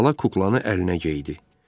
Xala kuklanı əlinə geydirdi.